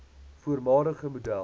voormalige model